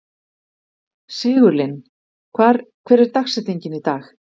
Sigurlinn, hver er dagsetningin í dag?